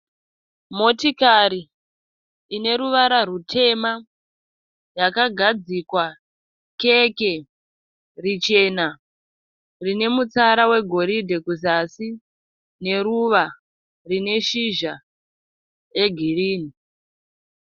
Motokari ine ruvara rutema yakagadzikwa keke richena rine mutsara wegoridhe kuzasi neruva rine shizha regirini.